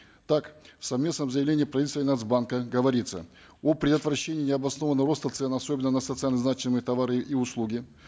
так в совместном заявлении правительства и нац банка говорится о предотвращении необоснованного роста цен особенно на социально значимые товары и услуги